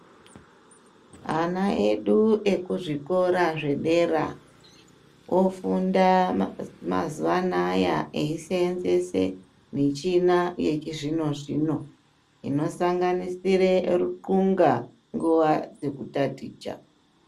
Ana edu ekuzvikora zvedera, ofunda mazuwa anaya eisenzese mishina yechizvino-zvino inosanganisire ruthunga nguwa dzekutaticha.